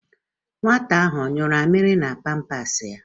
Nwata ahụ ọ yụrụ amịrị na pampas ya?